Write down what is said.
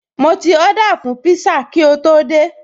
Mo ti Ọ́dà fún pízá kí o tó dé ibí